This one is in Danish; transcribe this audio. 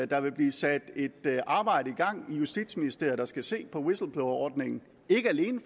der vil blive sat et arbejde i gang i justitsministeriet der skal se på whistleblowerordningen ikke alene